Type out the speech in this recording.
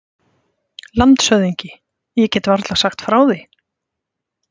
LANDSHÖFÐINGI: Ég get varla sagt frá því.